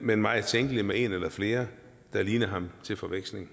men meget tænkeligt med en eller flere der ligner ham til forveksling